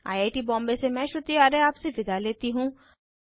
I I T Bombay से मैं श्रुति आर्य आपसे विदा लेती हूँ